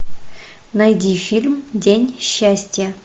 найди фильм день счастья